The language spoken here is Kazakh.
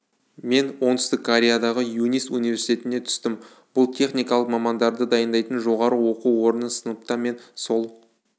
мен оңтүстік кореядағы юнист университетіне түстім бұл техникалық мамандарды дайындайтын жоғарғы оқу орны сыныпта мен сол